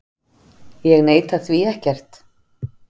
Ég neita því ekkert.